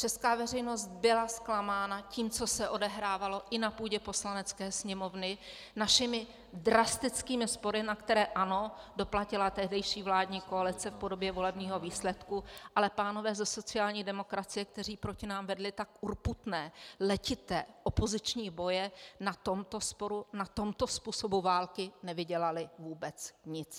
Česká veřejnost byla zklamána tím, co se odehrávalo i na půdě Poslanecké sněmovny, našimi drastickými spory na které, ano, doplatila tehdejší vládní koalice v podobě volebního výsledku, ale pánové ze sociální demokracie, kteří proti nám vedli tak urputné letité opoziční boje, na tomto sporu, na tomto způsobu války, nevydělali vůbec nic.